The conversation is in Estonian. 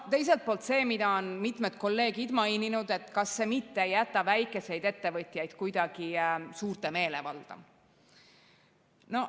Teiselt poolt see, mida on mitmed kolleegid maininud, et kas see mitte ei jäta väikseid ettevõtjaid kuidagi suurte meelevalda.